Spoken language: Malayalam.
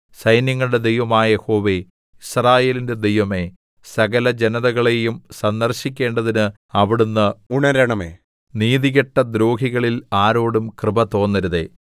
സൈന്യങ്ങളുടെ ദൈവമായ യഹോവേ യിസ്രായേലിന്റെ ദൈവമേ സകലജനതകളെയും സന്ദർശിക്കേണ്ടതിന് അവിടുന്ന് ഉണരണമേ നീതികെട്ട ദ്രോഹികളിൽ ആരോടും കൃപ തോന്നരുതേ സേലാ